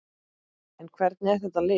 En hvernig er þetta lið?